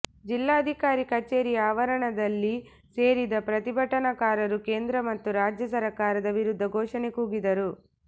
ಜಿಲ್ಲಾಧಿಕಾರಿ ಕಚೇರಿಯ ಆವರಣದಲ್ಲಿ ಸೇರಿದ ಪ್ರತಿಭಟನಕಾರರು ಕೇಂದ್ರ ಮತ್ತು ರಾಜ್ಯ ಸರಕಾರದ ವಿರುದ್ಧ ಘೋಷಣೆ ಕೂಗಿದರು